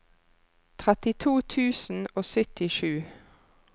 trettito tusen og syttisju